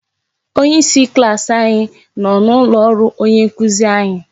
Onyeisi klaasị anyị nọ n'ụlọ ọrụ onye nkuzi anyị.